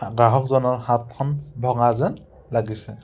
গ্ৰাহকজনৰ হাতখন ভঙা যেন লাগিছে।